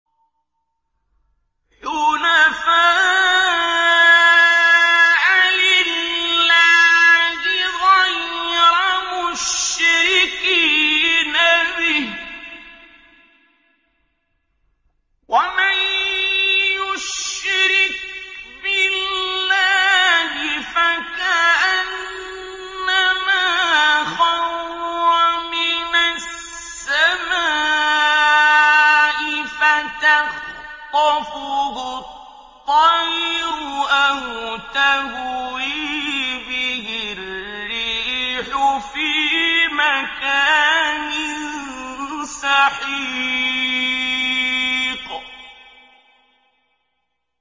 حُنَفَاءَ لِلَّهِ غَيْرَ مُشْرِكِينَ بِهِ ۚ وَمَن يُشْرِكْ بِاللَّهِ فَكَأَنَّمَا خَرَّ مِنَ السَّمَاءِ فَتَخْطَفُهُ الطَّيْرُ أَوْ تَهْوِي بِهِ الرِّيحُ فِي مَكَانٍ سَحِيقٍ